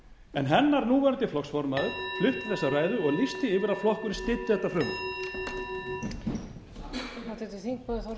en hennar núverandi flokksformaður flutti þessa ræðu og lýsti því yfir að flokkurinn styddi þetta frumvarp